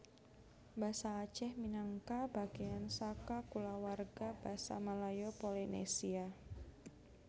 Basa Aceh minangka bagéan saka kulawarga Basa Malayo Polinesia